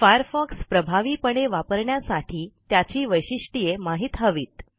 Firefox प्रभावीपणे वापरण्यासाठी त्याची वैशिष्ट्ये माहित हवीत